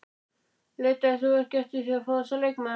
Leitaðir þú ekki eftir því að fá þessa leikmenn?